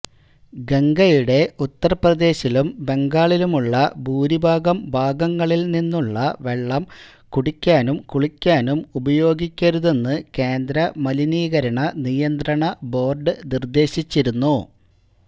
ഗംഗയുടെ ഉത്തര്പ്രദേശിലും ബംഗാളിലുമുള്ള ഭൂരിഭാഗം ഭാഗങ്ങളില് നിന്നുള്ള വെള്ളം കുടിക്കാനും കുളിക്കാനും ഉപയോഗിക്കരുതെന്ന് കേന്ദ്ര മലിനീകരണ നിയന്ത്രണ ബോര്ഡ് നിര്ദേശിച്ചിരുന്നു